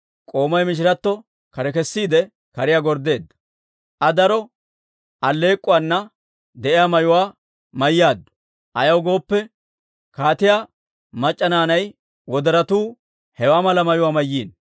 K'oomay mishiratto kare kesiide, kariyaa gorddeedda. Aa daro alleek'k'uwaana de'iyaa mayuwaa mayyaaddu; ayaw gooppe, kaatiyaa mac'c'a naanay wodoratuu hewaa mala mayuwaa mayiino.